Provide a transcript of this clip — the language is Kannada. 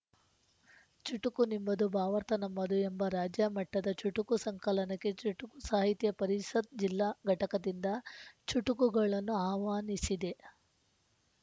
ಚುಟುಕು ನಿಮ್ಮದುಭಾವಾರ್ಥ ನಮ್ಮದು ಎಂಬ ರಾಜ್ಯ ಮಟ್ಟದ ಚುಟುಕು ಸಂಕಲನಕ್ಕೆ ಚುಟುಕು ಸಾಹಿತ್ಯ ಪರಿಸತ್‌ ಜಿಲ್ಲಾ ಘಟಕದಿಂದ ಚುಟುಕುಗಳನ್ನು ಆಹ್ವಾನಿಸಿದೆ